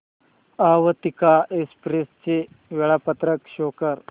Avantika express चे वेळापत्रक show कर